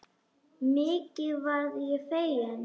Mikið varð ég feginn.